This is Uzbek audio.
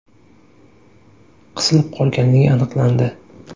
qisilib qolganligi aniqlandi.